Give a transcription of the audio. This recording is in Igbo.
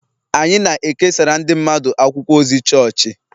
Anyị na-ekesara ndị mmadụ akwụkwọ ozi chọọchị